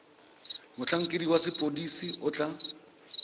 motlhankedi wa sepodisi o tla